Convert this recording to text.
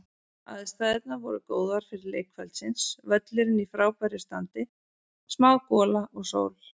Aðstæðurnar voru góðar fyrir leik kvöldsins, völlurinn í frábæra standi, smá gola og sól.